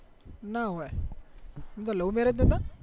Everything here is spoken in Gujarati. ના હોય એને તો લવ marriage નાતા